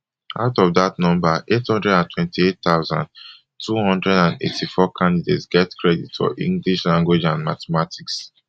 out of dat number eight hundred and twenty-eight thousand, two hundred and eighty-four candidates get credit for english language and mathematics